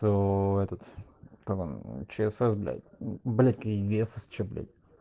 то этот как он чсс блять мм блять или ссч блять